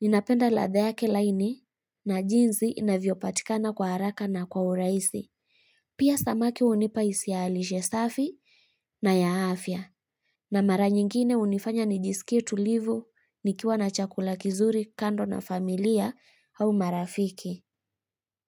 Ninapenda ladha yake laini na jinzi inavyopatikana kwa haraka na kwa urahisi. Pia samaki unipa hisia ya lishe safi na ya afya. Na mara nyingine unifanya nijisikie tulivu nikiwa na chakula kizuri kando na familia au marafiki.